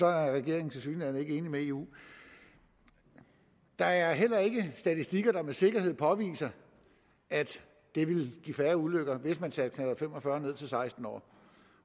er regeringen tilsyneladende ikke enig med eu der er heller ikke statistikker der med sikkerhed påviser at det ville give flere ulykker hvis man satte knallert fem og fyrre ned til seksten år